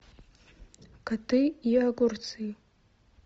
коты и огурцы